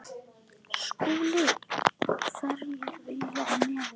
SKÚLI: Hverjir vilja í nefið.